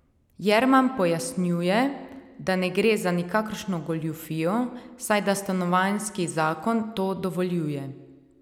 Jerman pojasnjuje, da ne gre za nikakršno goljufijo, saj da stanovanjski zakon to dovoljuje.